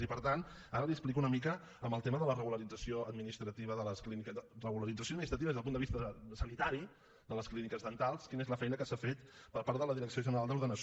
i per tant ara li explico una mica en el tema de la regularització administrativa des del punt de vista sanitari de les clíniques dentals quina és la feina que s’ha fet per part de la direcció general d’ordenació